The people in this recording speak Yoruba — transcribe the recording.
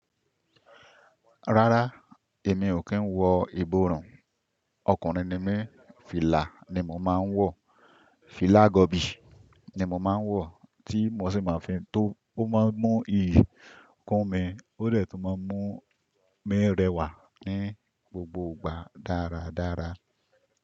Rárá, èmi ò kí ń wọ ìborùn. Ọkùnrin ni mí, fìlà ni mo máa ń wọ. Fìlà gọ̀bì ni mo máa ń wọ, tí mo sì máa fi tó. Ó máa ń mú ikún mi, ó de tun máa ń mú mi rẹwà ní gbogbo ìgbà dáradára.